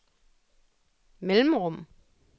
mellemrum